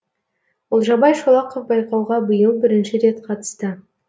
олжабай шолақов байқауға биыл бірінші рет қатысты